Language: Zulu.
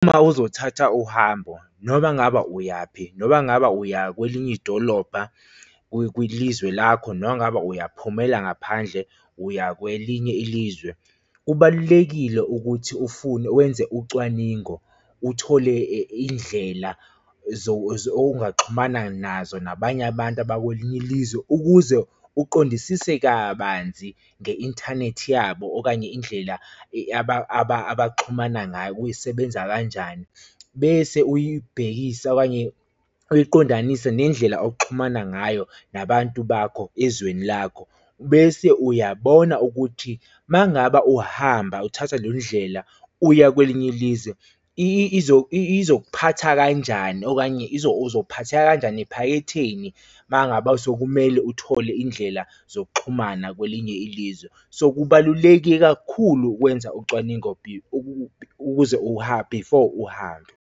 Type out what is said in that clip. Uma uzothatha uhambo noma ngaba uyaphi, noma ngaba uya kwelinye idolobha kulizwe lakho, noma ngabe uyaphumela ngaphandle uya kwelinye ilizwe, kubalulekile ukuthi ufune wenze ucwaningo, uthole indlela ongaxhumana nazo nabanye abantu abakwelinye ilizwe, ukuze uqondisise kabanzi nge-inthanethi yabo okanye indlela abaxhumana ngayo, kusebenza kanjani. Bese uyibhekisa okanye uyiqondanise nendlela oxhumana ngayo nabantu bakho ezweni lakho, bese uyabona ukuthi uma ngaba uhamba uthatha le ndlela uya kwelinye ilizwe izokuphatha kanjani okanye uzophatheka kanjani ephaketheni uma ngaba sekumele uthole indlela zokuxhumana kwelinye ilizwe. So, kubaluleke kakhulu ukwenza ucwaningo ukuze uhambe, before uhambe.